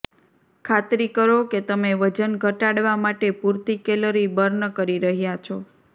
ખાતરી કરો કે તમે વજન ઘટાડવા માટે પૂરતી કેલરી બર્ન કરી રહ્યાં છો